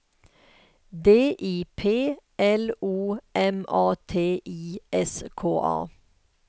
D I P L O M A T I S K A